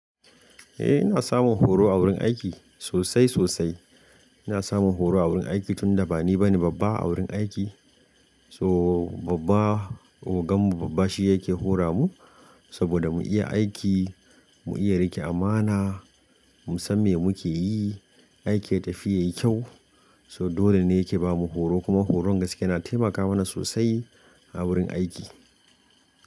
Eh ina samun horo a wurin aiki. Sosai sosai. Ina samun horo a wurin aiki tunda bani bane babba a wurin aiki. So babba, ogan mu babba shi yake hora mu saboda mu iya aiki, mu iya rike amana, mu san me muke yi, aikin ya tafi yayi kyau. So dole ne yake bamu horo, kuma horon gaske yana taimaka mana sosai a wurin aiki.